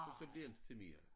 Og så bliver det inte til mere